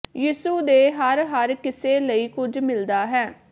ਯਿਸੂ ਦੇ ਹਰ ਹਰ ਕਿਸੇ ਲਈ ਕੁਝ ਮਿਲਦਾ ਹੈ